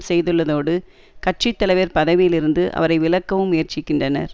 செய்துள்ளதோடு கட்சி தலைவர் பதவியில் இருந்து அவரை விலக்கவும் முயற்சிக்கின்றனர்